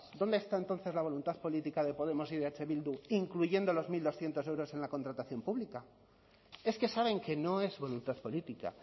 dónde está entonces la voluntad política de podemos y de eh bildu incluyendo los mil doscientos euros en la contratación pública es que saben que no es voluntad política